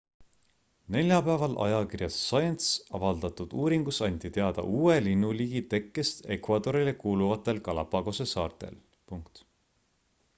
neljapäeval ajakirjas science avaldatud uuringus anti teada uue linnuliigi tekkest ecuadorile kuuluvatel galapagose saartel